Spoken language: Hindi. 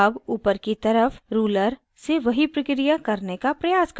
अब ऊपर की तरफ ruler से वही प्रक्रिया करने का प्रयास करते हैं